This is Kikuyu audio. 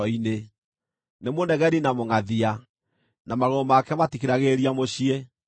(Nĩ mũnegeni na mũngʼathia, na magũrũ make matikiragĩrĩria mũciĩ;